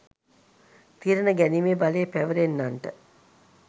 තීරණ ගැනීමේ බලය පැවැරෙනන්නන්ට